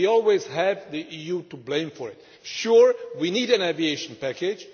We always had the EU to blame for it. Certainly we need an aviation package.